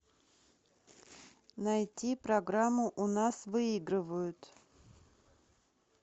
найти программу у нас выигрывают